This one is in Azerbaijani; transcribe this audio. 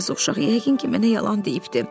Yazıq uşaq yəqin ki, mənə yalan deyibdir.